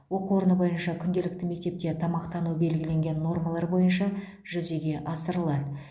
оқу орны бойынша күнделікті мектепте тамақтану белгіленген нормалар бойынша жүзеге асырылады